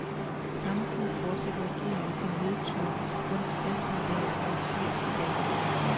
Samtidig fortsætter regeringen sin nedtur til kun tres mandater mod firs i dag.